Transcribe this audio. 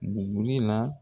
Buguri la